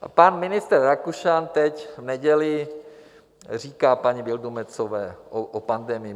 Pan ministr Rakušan teď v neděli říká paní Vildumetzové o pandemii.